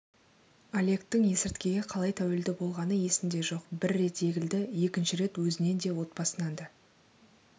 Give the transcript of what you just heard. олегтің есірткіге қалай тәуелді болғаны есінде жоқ бір рет егілді екінші рет өзінен де отбасынан да